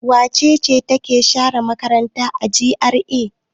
Wace ce take share makaranta a GRA?